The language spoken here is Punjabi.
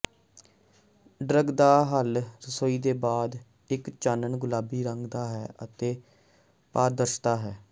ਡਰੱਗ ਦਾ ਹੱਲ ਰਸੋਈ ਦੇ ਬਾਅਦ ਇੱਕ ਚਾਨਣ ਗੁਲਾਬੀ ਰੰਗ ਦਾ ਹੈ ਅਤੇ ਪਾਰਦਰਸ਼ਤਾ ਹੈ